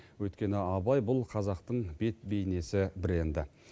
өйткені абай бұл қазақтың бет бейнесі бренді